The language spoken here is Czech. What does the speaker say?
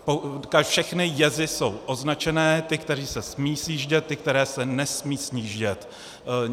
Všechny jezy jsou označené, ty, které se smí sjíždět, ty, které se nesmí sjíždět.